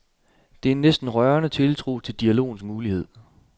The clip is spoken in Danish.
Det er en næsten rørende tiltro til dialogens mulighed.